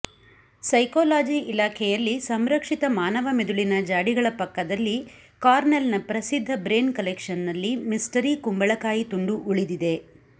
psychology ಇಲಾಖೆಯಲ್ಲಿ ಸಂರಕ್ಷಿತ ಮಾನವ ಮಿದುಳಿನ ಜಾಡಿಗಳ ಪಕ್ಕದಲ್ಲಿ ಕಾರ್ನೆಲ್ನ ಪ್ರಸಿದ್ಧ ಬ್ರೇನ್ ಕಲೆಕ್ಷನ್ನಲ್ಲಿ ಮಿಸ್ಟರಿ ಕುಂಬಳಕಾಯಿ ತುಂಡು ಉಳಿದಿದೆ